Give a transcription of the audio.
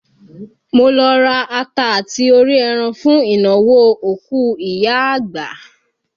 Mo lọ ra ata àti orí ẹran fún ìnáwó òkú ìyá àgbà